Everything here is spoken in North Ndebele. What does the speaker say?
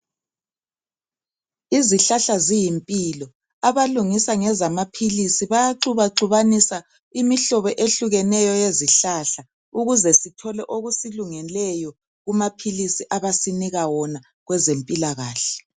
Izihlahla ziyimpilo. Abalungisa ngezamaphilisi, bayaxubaxubanisa imihlobo ehlukeneyo yezihlahla. Ukuze sithole okusilungeleyo kumaphilisi abasinika wona kwezempilakahle.